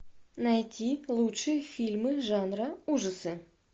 найти лучшие фильмы жанра ужасы